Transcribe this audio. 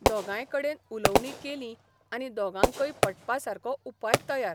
दोगांयकडेन उलोवणी केलीं आनी दोगांकय पटपासारको उपाय तयार